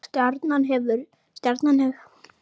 Stjarnan hefur tapað öllum þremur leikjum sínum á mótinu.